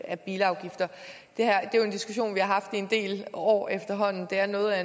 af bilafgifter det er jo en diskussion vi har haft i en del år efterhånden det er noget af